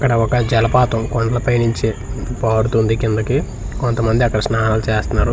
ఇక్కడ ఒక జలపాతం కొండలపై నుంచి పారుతుంది కిందకి కొంతమంది అక్కడ స్నానాలు చేస్తన్నారు.